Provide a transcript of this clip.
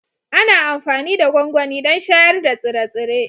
Ana amfani da gwangwani don shayar da tsire-tsire